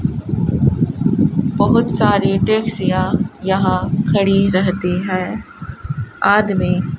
बहुत सारी टैक्सियां यहां खड़ी रहती है आदमी --